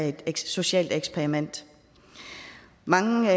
et socialt eksperiment mange